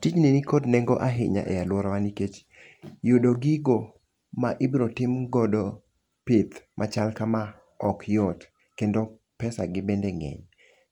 Tijni nikod nengo ahinya e alworawa nikech yudo gigo ma ibro tim godo pith machal kama ok yot, kendo pesa gi bende ng'eny.